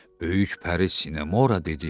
Böyük Pəri Sinemora dedi.